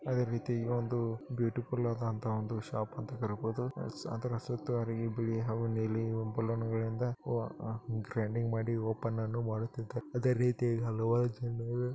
ಅದೇ ರೀತಿ ಈಗ ಒಂದು ಬ್ಯೂಟಿಫುಲ್ ಆದಂತಹ ಒಂದು ಶಾಪ್ ಅಂತ ಕರೀಬೋದು ಎಸ್ ಅದರ ಸುತ್ತ ಹರಿ ಬಿಳಿ ಹಾಗು ನೀಲಿ ಬಲೂನ್ಗ ಳಿಂದ ಹೋ ಗ್ರ್ಯಾಂಡಿಂಗ್ ಮಾಡಿ ಓಪನ್ ಅನ್ನು ಮಾಡುತಿದಾರೆ ಅದೇ ರೀತಿ ಹಲವಾರು ಜನರು --